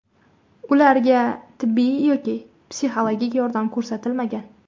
Ularga tibbiy yoki psixologik yordam ko‘rsatilmagan.